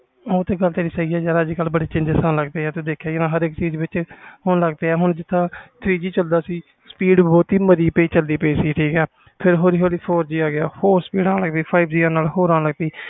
ਉਹ ਤੇ ਤੇਰੀ ਗੱਲ ਸਹੀ ਆ ਅਜੇ ਕਲ ਬਾਰੇ changes ਤੂੰ ਦੇਖਿਆ ਹੋਣਾ ਹਰ ਇਕ ਚੀਜ਼ ਵਿਚ ਹੋਣ ਲੱਗ ਪਏ ਆ ਹੁਣ ਜਿਸ ਤਰਾਂ ਤਰਾਂ three G ਚਲਦਾ ਸੀ speed ਮਾਰੀ ਪਈ ਚਲਦੀ ਪੈ ਸੀ ਫਰ ਹੋਲੀ ਹੋਲੀ four G ਆ ਗਿਆ